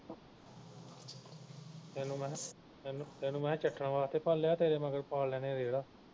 ਤੈਨੂੰ ਮਹਿ ਤੈਨੂੰ ਤੈਨੂੰ ਮਹਿ ਚੱਟਣ ਵਾਸਤੇ ਪਾਲਿਆਂ ਵਾ ਤੇਰੇ ਮਗਰ ਪਾ ਲੈਣੇ ਰੇਹੜਾ